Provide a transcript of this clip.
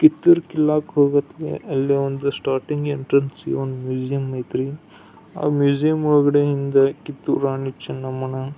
ಕಿತ್ತೂರ್ ಕಿಲ್ಲಾಕ್ ಹೋಗುವತಿಗೆ ಅಲ್ಲಿ ಒಂದು ಸ್ಟಾರ್ಟಿಂಗ್ ಎಂಟ್ರನ್ಸಗೆ ಒಂದು ಮ್ಯೂಸಿಯಂ ಐತ್ರಿ ಆ ಮ್ಯೂಸಿಯಂ ಒಳಗಡೆ ಇಂದ ಕಿತ್ತೂರ್ ರಾಣಿ ಚೆನ್ನಮ್ಮನ --